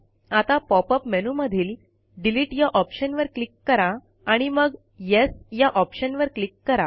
आता पॉपअप मेनूमधील डिलीट या ऑप्शनवर क्लिक करा आणि मग येस या ऑप्शनवर क्लिक करा